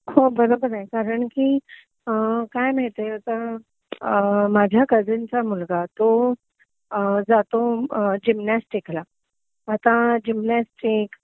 तर त्या गेबद्दल पण इंटरव्यूस किंवा त्यांचा इतिहास काय आहे हे मुलांना थोडस प्रॅक्टिकली किंवा अ पुस्तकामधंन किंवा एक आपल्या फॅमिलिमधन ह्या गोष्टी कधी कळत गेल्या ना तर त्यांना ह्या गेमची आवड निर्माण होईल